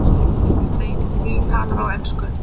David Lee talar á ensku.